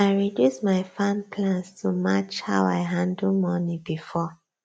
i reduce my farm plans to match how i handle money before